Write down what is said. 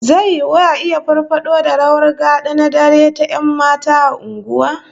Zai yiwu a iya farfado da rawar gad'a na dare ta 'yan mata a unguwa